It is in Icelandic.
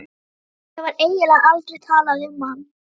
Og það var eiginlega aldrei talað um hann.